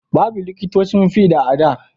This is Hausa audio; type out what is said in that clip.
Babu liƙitocin fiɗa a da